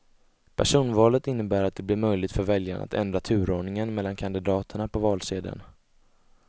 Personvalet innebär att det blir möjligt för väljarna att ändra turordningen mellan kandidaterna på valsedeln.